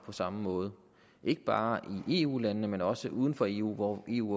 på samme måde ikke bare i eu landene men også uden for eu hvor eu